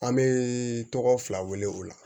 An bɛ tɔgɔ fila wele o la